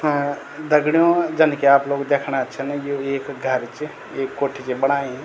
हाँ दगडियों जन की आप लोग देखणा छन यु एक घर च एक कोठी च बणायीं।